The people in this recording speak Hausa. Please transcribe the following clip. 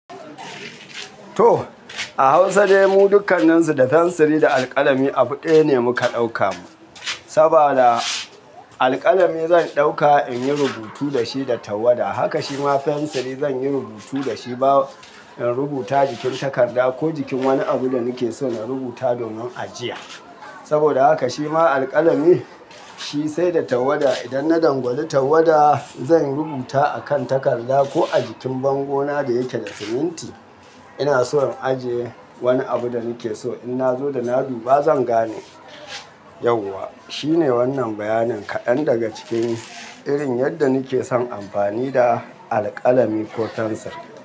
To, a Hausa dai mu dukkannin su da fensir da alƙalami abu ɗaya ne muka ɗauka. Saboda alƙalami zan ɗauka in yi rubutu da shi da tawada. Haka shima fensir zan yi rubutu da shi ba in rubuta jikin takarda ko jikin wani abu da nake so na rubuta domin a jiya. Saboda haka shima alƙalami shi sai da tawada. Idan na dangwali tawada zan rubuta a kan takarda ko a jikin bango na da yake da siminti. Ina so in ajiye wani abu da nake so in na zo da na dubba zan gane yauwa. Shi ne wannan bayanin kaɗan daga cikin irin yadda nake son amfani da alƙalami ko fensir.